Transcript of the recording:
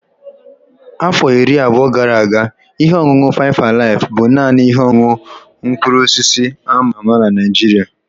Afọ iri abụọ gara aga, ihe ọṅụṅụ faịf alaif bụ naanị ihe ọṅụṅụ mkpụrụ osisi a ma ama na Naịjirịa.